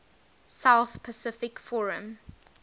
south pacific forum